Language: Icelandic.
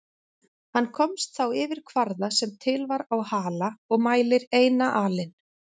Hann komst þá yfir kvarða sem til var á Hala og mælir eina alin.